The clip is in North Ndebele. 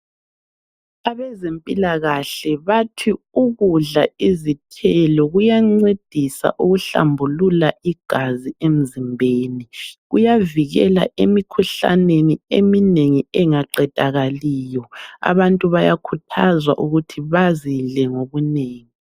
Abezempilakahle bathi ukudla izithelo kuyancedisa ukuhlambulula igazi emzimbeni. Kuyavikela emikhuhlaneni engaqedakaliyo. Abantu bayakhuthazwa ukuthi bazidle ngobunengi.